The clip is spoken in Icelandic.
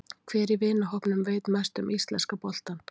Hver í vinahópnum veit mest um íslenska boltann?